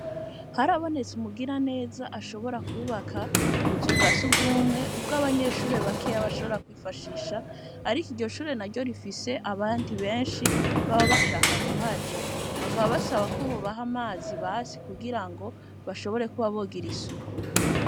Harabonetse umugiraneza ashobora kwubaka ubuzu bwa surwumwe, ubw'abanyeshure bakeya bashobora kwifashisha, ariko iryo shuri naryo rifise abandi benshi baba bashakaa kuhaja. Bakaba basaba ko bobaha amazi basi kugirango bashobore kuba bogira isuku.